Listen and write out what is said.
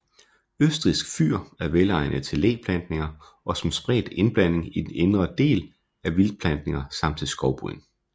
Østrigsk fyr er velegnet til læplantninger og som spredt indblanding i den indre del af vildtplantninger samt til skovbryn